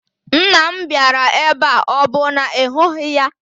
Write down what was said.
Nna m bịara ebe a, ọ bụ na ị hụghị ya?